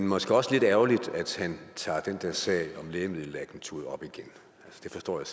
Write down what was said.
måske også lidt ærgerligt at han tager den der sag om lægemiddelagenturet op igen det forstår jeg